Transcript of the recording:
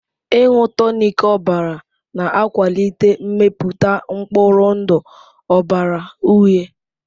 Ịṅụ tonic ọbara na-akwalite mmepụta mkpụrụ ndụ ọbara uhie.